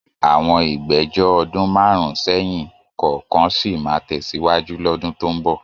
Àwọn ìgbẹ́jọ́ ọdún márùn-ún sẹ́yìn kọ̀ọ̀kan sì máa tẹ̀síwájú lọ́dún tó ń bọ̀.